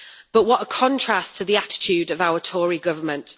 But what a contrast to the attitude of our Tory Government.